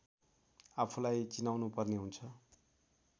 आफूलाई चिनाउनुपर्ने हुन्छ